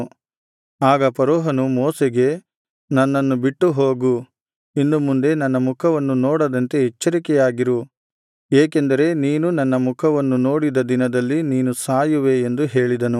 ಆಗ ಫರೋಹನು ಮೋಶೆಗೆ ನನ್ನನ್ನು ಬಿಟ್ಟುಹೋಗು ಇನ್ನು ಮುಂದೆ ನನ್ನ ಮುಖವನ್ನು ನೋಡದಂತೆ ಎಚ್ಚರಿಕೆಯಾಗಿರು ಏಕೆಂದರೆ ನೀನು ನನ್ನ ಮುಖವನ್ನು ನೋಡಿದ ದಿನದಲ್ಲಿ ನೀನು ಸಾಯುವೆ ಎಂದು ಹೇಳಿದನು